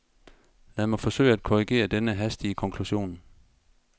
Lad mig forsøge at korrigere denne hastige konklusion.